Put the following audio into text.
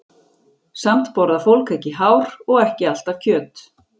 Samt borðar fólk ekki hár og ekki alltaf kjöt.